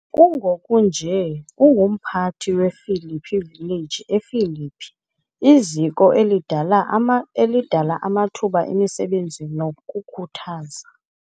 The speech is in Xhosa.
Kungoku nje ungumphathi wePhilippi Village ePhilippi , iziko elidala amathuba emisebenzi nokukhuthaza.